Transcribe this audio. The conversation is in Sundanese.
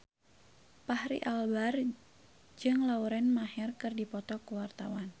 Fachri Albar jeung Lauren Maher keur dipoto ku wartawan